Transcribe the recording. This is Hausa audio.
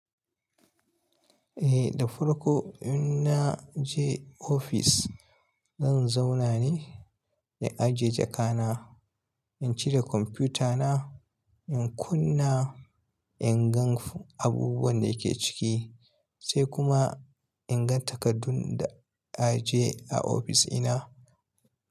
Eh, da farko in na je ofis, zan zauna ne in ajiye jaka na, in cire kwamfuta na, in kunna, in gan abubuwan da yake ciki sai kuma in gan takardun da aje a ofis ina.